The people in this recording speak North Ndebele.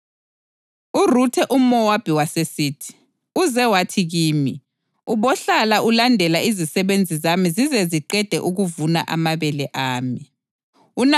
URuthe umʼMowabi wasesithi, “Uze wathi kimi, ‘Ubohlala ulandela izisebenzi zami zize ziqede ukuvuna amabele ami.’ ”